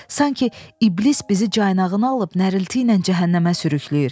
Sanki iblis bizi caynağına alıb nərəltiylə cəhənnəmə sürükləyir.